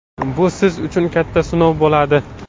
Bu siz uchun katta sinov bo‘ladi!